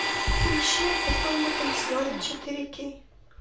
поищи а потом мы танцевали четыре кей